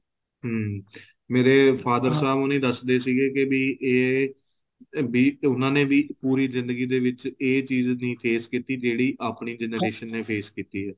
ਹਮ ਮੇਰੇ father ਸਾਹਿਬ ਹੋਣੀ ਵੀ ਦੱਸਦੇ ਸੀਗੇ ਵੀ ਏ ਵੀ ਉਹਨਾ ਨੇ ਵੀ ਪੂਰੀ ਜ਼ਿੰਦਗੀ ਦੇ ਵਿੱਚ ਏ ਚੀਜ਼ ਨਹੀਂ face ਕੀਤੀ ਜਿਹੜੀ ਆਪਣੀ generation ਨੇ face ਕੀਤੀ ਏ